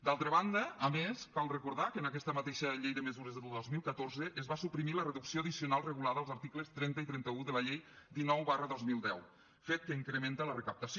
d’altra banda a més cal recordar que en aquesta mateixa llei de mesures del dos mil catorze es va suprimir la reducció addicional regulada als articles trenta i trenta un de la llei dinou dos mil deu fet que incrementa la recaptació